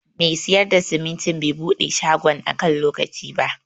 Mai siyar da simintin bai buɗe shagon a kan lokaci ba.